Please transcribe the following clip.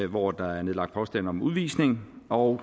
hvor der er nedlagt påstand om udvisning og